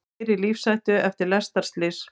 Tveir í lífshættu eftir lestarslys